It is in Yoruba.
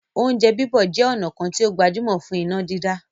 "Oúnjẹ bíbọ̀" jẹ ọ̀nà kan tí ó gbajúmọ̀ fún iná dídá